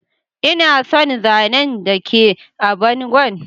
Ina son zanan da ke a bangon.